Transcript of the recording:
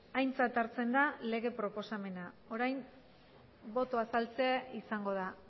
aintzat hartzen da lege proposamena orain boto azaltzea izango da